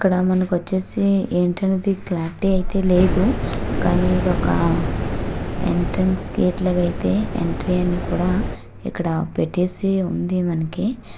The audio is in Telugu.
ఇక్కడ మనకి వచ్చేసి ఏంటి అనేది క్లారిటీ అయితే లేదు. కానీ ఇదొక ఎంట్రెన్స్ గేట్ లాగా అయితే ఎంట్రీ అని కూడా ఇక్కడ పెట్టేసి ఉంది మనకి.